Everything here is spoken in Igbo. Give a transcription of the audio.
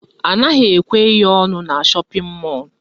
Anaghị ekwe ihe ọnụ na shọpịn mọlụ